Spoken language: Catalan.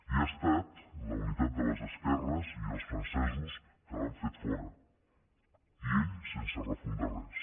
i ha estat la unitat de les esquerres i els francesos que l’han fet fora i ell sense refundar res